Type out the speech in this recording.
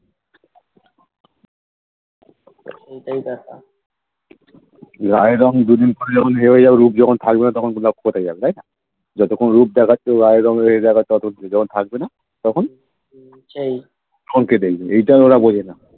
এটাই ব্যাপার হম সেই